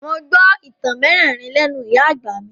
Mo gbọ́ ìtàn mérìíìírí lẹ́nú ìyá àgbà mi.